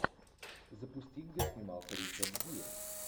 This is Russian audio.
запусти где снимался ричард гир